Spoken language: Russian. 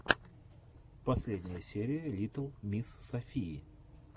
последняя серия литтл мисс софии